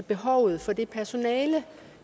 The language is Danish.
behovet for det personale